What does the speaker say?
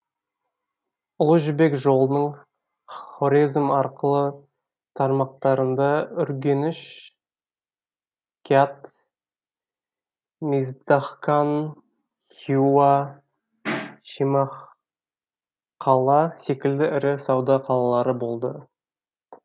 ұлы жібек жолының хорезм арқылы тармақтарында үргеніш кят миздахкан хиуа шемахқала секілді ірі сауда қалалары болды